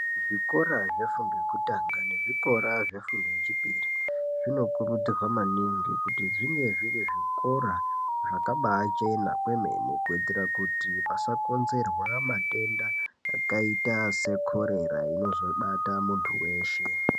Zvikora zvefundo yekutanga nezvikora zvefundo yechipiri zvinokurutirwa kuti zvinge zviri zvikora zvakabaachena kwemene kuitira kuti pasakonzerwa matenda akaita seKorera inozobata muntu weshe.